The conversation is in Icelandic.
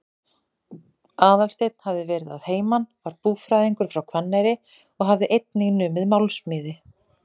Aðalsteinn hafði verið að heiman, var búfræðingur frá Hvanneyri og hafði einnig numið málmsmíði.